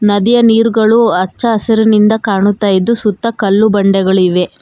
ನದಿಯ ನಿರ್ಗಳು ಹಚ್ಚ ಹಸುರಿನಿಂದ ಕಾಣುತ್ತಾ ಇದು ಸುತ್ತ ಕಲ್ಲು ಬಂಡೆಗಳಿವೆ.